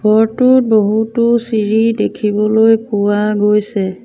ঘৰটোত বহুতো চিৰি দেখিবলৈ পোৱা গৈছে।